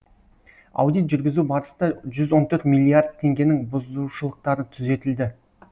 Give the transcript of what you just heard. аудит жүргізу барыста жүз он төрт миллиард теңгенің бұзушылықтары түзетілді